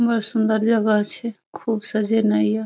बढ़ सुंदर जगह छे खूब सजे ने ये --